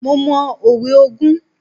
Mo mọ òwe ogún.